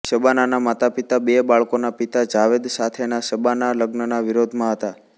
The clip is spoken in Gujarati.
શબાનાના માતાપિતા બે બાળકોના પિતા જાવેદ સાથેના શબાના લગ્નના વિરોધમાં હતા